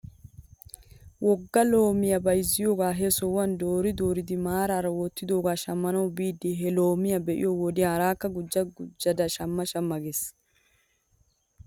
Wogga loomiyaa bayzziyoogaa he sohuwan doorii dooridi maaraara wottidoogee shamanaw biidi he loomiyaa be'iyoo wodoyan haraakka gujjada shamma shamma ges.